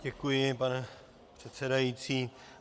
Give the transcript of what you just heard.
Děkuji, pane předsedající.